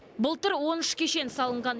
былтыр он үш кешен салынған